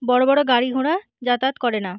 বড়ো বড়ো গাড়ি ঘোড়া যাতায়াত করে না।